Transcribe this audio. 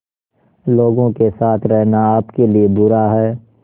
लोगों के साथ रहना आपके लिए बुरा है